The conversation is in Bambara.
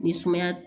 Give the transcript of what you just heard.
Ni sumaya